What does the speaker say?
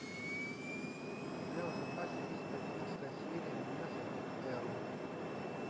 у тебя в запасе есть одиннадцатая серия меня зовут эрл